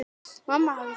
Mamma hafði fylgt